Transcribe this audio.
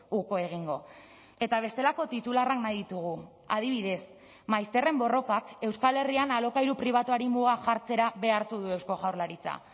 uko egingo eta bestelako titularrak nahi ditugu adibidez maizterren borrokak euskal herrian alokairu pribatuari muga jartzera behartu du eusko jaurlaritza